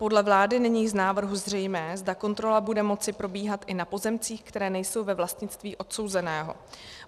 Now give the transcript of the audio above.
Podle vlády není z návrhu zřejmé, zda kontrola bude moci probíhat i na pozemcích, které nejsou ve vlastnictví odsouzeného.